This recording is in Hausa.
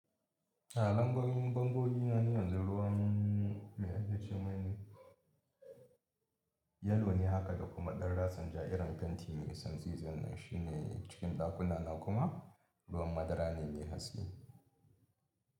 A lamborin bangogina yanzu ruwan mai akashe mai ne, yellow ne haka da kuma ɗan ratsin ja irin fenti mai santsi zan shi ne cikin dakuna na kuma ruwan madara ne mai haske.